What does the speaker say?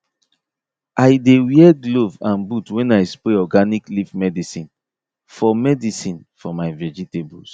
i dey wear glove and boot when i spray organic leaf medicine for medicine for my vegetables